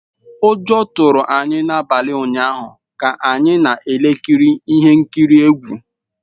Ụjọ tụrụ anyị n’abalị ụnyaahụ ka anyị na-ekiri ihe nkiri egwu.